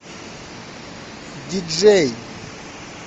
диджей